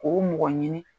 K'o mɔgɔ ɲini